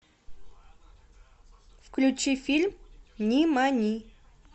включи фильм нимани